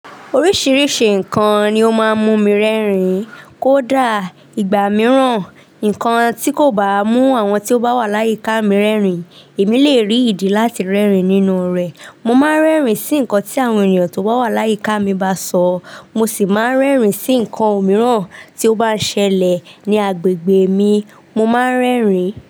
Oríṣìíríṣìí nǹkan ni ó máa ń mú mi rẹ́rìn-ín kó dà ìgbà mìíràn. Nǹkan tí kò bá mú àwọn tí ó bá wà láyí ká mi rẹ́rìn-ín, èmi lè rí ìdí láti rẹ́rìn-ín nínú rẹ̀. Mo máa ń rẹ́rìn-ín sí nǹkan tí àwọn ènìyàn tó wà wà láyí ká mi bá sọ, mo sì máa ń rẹ́rìn-ín sí nǹkan òmíràn tí ó bá ń ṣẹlẹ̀ ní agbègbè mi, mo máa ń rẹ́rìn-ín.